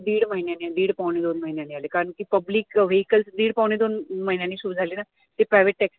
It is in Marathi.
दीड महिन्याने आले, दिड पावणे दोन महिन्याने आले कारण कि public vehicle दीड पावणे दोन महिन्याने सुरु झाले ना ते private taxi